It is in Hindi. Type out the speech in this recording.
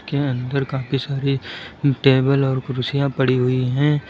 अन्दर काफी सारी टेबल और कुर्सियां पड़ी हुई हैं।